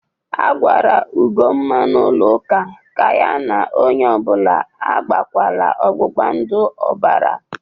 A gwara Ugomma n'ụlọ ụka ka ya na onye ọ bụla agbakwala ọgbụgbandụ ọbara!